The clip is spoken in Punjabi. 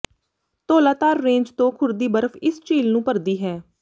ਧੌਲਾਧਾਰ ਰੇਂਜ ਤੋਂ ਖੁਰਦੀ ਬਰਫ ਇਸ ਝੀਲ ਨੂੰ ਭਰਦੀ ਹੈ